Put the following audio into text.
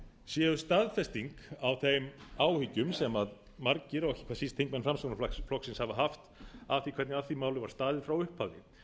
séu staðfesting á þeim áhyggjum sem margir og ekki síst þingmenn framsóknarflokksins hafa haft af því hvernig að því máli var staðið frá upphafi